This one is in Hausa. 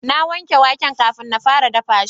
na wanke waken kafin na fara dafa shi